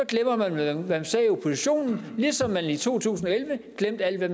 hvad man sagde i opposition ligesom da man i to tusind og elleve glemte alle de